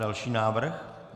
Další návrh.